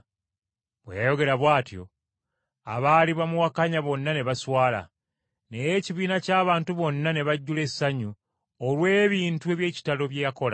Bwe yayogera bw’atyo abaali bamuwakanya bonna ne baswala, naye ekibiina ky’abantu bonna ne bajjula essanyu olw’ebintu eby’ekitalo bye yakola.